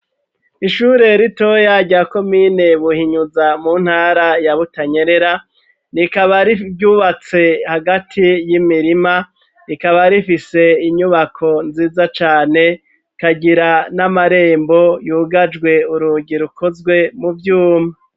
Ishure ritoya rya komine Buhinyuza mu ntara ya Butanyerera, rikaba ryubatse hagati y'imirima, rikaba rifise inyubako nziza cane, rikagira n'amarembo yugajwe urugi rukozwe mu vyuma.